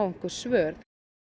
einhver svör